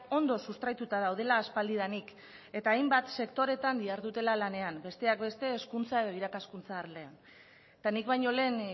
ondo sustraituta daudela aspaldidanik eta hainbat sektoretan dihardutela lanean besteak beste hezkuntza edo irakaskuntza arloan eta nik baino lehen